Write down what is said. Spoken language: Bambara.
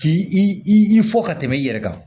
K'i i fɔ ka tɛmɛ i yɛrɛ kan